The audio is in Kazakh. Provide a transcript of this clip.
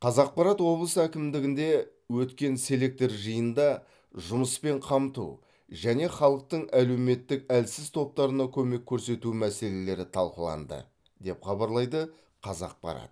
қазақпарат облыс әкімдігінде өткен селектор жиынында жұмыспен қамту және халықтың әлеуметтік әлсіз топтарына көмек көрсету мәселелері талқыланды деп хабарлайды қазақпарат